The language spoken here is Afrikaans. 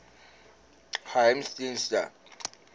geheimediens